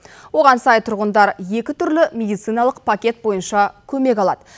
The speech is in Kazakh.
оған сай тұрғындар екі түрлі медициналық пакет бойынша көмек алады